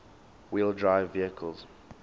wheel drive vehicles